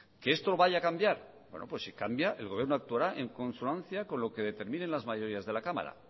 que esto lo vaya a cambiar bueno pues si cambia el gobierno actuará en consonancia con lo que determine las mayorías de la cámara